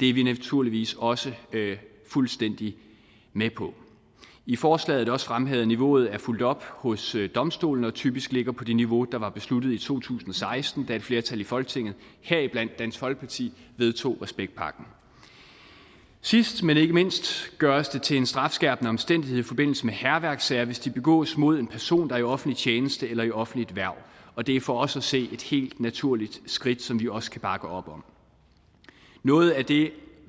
det er vi naturligvis også fuldstændig med på i forslaget er det også fremhævet at niveauet er fulgt op hos domstolene og typisk ligger på det niveau der var besluttet i to tusind og seksten da et flertal i folketinget heriblandt dansk folkeparti vedtog respektpakken sidst men ikke mindst gøres det til en strafskærpende omstændighed i forbindelse med hærværkssager hvis forbrydelsen begås mod en person der er i offentlig tjeneste eller i offentligt hverv og det er for os at se et helt naturligt skridt som vi også kan bakke op om noget af det